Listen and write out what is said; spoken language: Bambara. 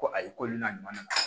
Ko ayi ko n'a ɲuman na